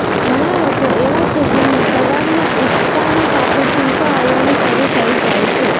ઘણા લોકો એવા છે જેમને સવારના ઊઠતાંની સાથે છીંકો આવવાની શરૂ થઈ જાય છે